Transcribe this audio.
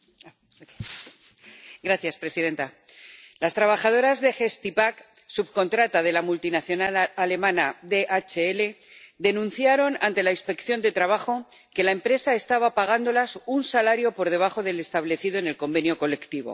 Señora presidenta, las trabajadoras de Gestipack, subcontrata de la multinacional alemana DHL, denunciaron ante la Inspección de Trabajo que la empresa estaba pagándoles un salario por debajo del establecido en el convenio colectivo.